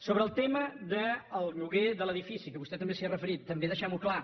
sobre el tema del lloguer de l’edifici que vostè també s’hi ha referit també deixemho clar